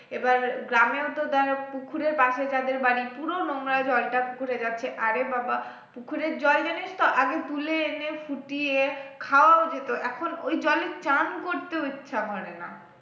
এবার গ্রামেও তো দেখ পুকুরের পাশে যাদের বাড়ি পুরো নোংরা জলটা পুকুরে যাচ্ছে আরে বাবাঃ পুকুরের জল জানিস তো আগে তুলে এনে ফুটিয়ে খাওয়াও যেত এখন ওই জলে চান করতেও ইচ্ছা করে না